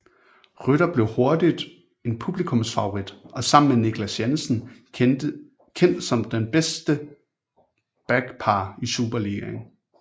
Rytter blev hurtigt en publikumsfavorit og sammen med Niclas Jensen kendt som det bedste backpar i Superligaen